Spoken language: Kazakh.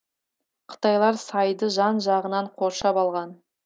қытайлар сайды жан жағынан қоршап алған